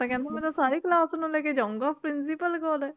ਤਾਂ ਕਹਿੰਦਾ ਮੈਂ ਤਾਂ ਸਾਰੀ class ਨੂੰ ਲੈ ਕੇ ਜਾਊਂਗਾ principal ਕੋਲ